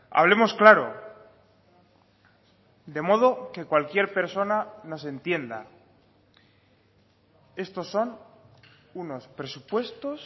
hablemos claro de modo que cualquier persona nos entienda estos son unos presupuestos